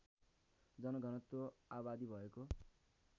जनघनत्व आबादी भएको